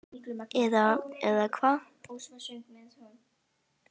Eða, eða hvað?